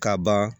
Ka ban